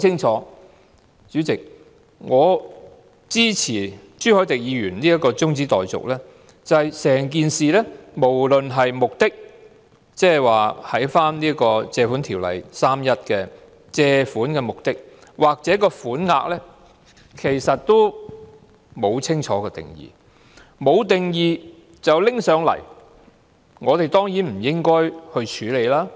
主席，我支持朱凱廸議員這項中止待續議案，原因很清楚是在整件事當中，無論是其目的——即《借款條例》第31條所述的借款目的——抑或款額，均沒有清晰定義。